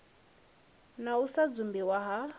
na u sa dzumbiwa ha